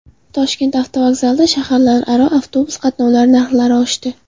Toshkent avtovokzalida shaharlararo avtobus qatnovi narxlari oshdi.